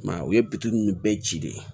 I m'a ye o ye nunnu bɛɛ ci de ye